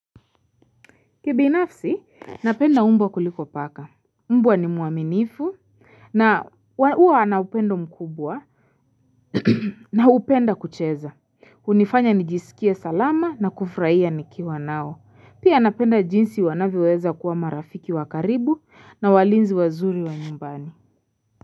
Kibinafsi, napenda mbwa kuliko paka, mbwa ni mwaminifu na huwa ana upendo mkubwa na hupenda kucheza, hunifanya nijisikie salama na kufurahia nikiwa nao, pia napenda jinsi wanavyoweza kuwa marafiki wakaribu na walinzi wazuri wa nyumbani.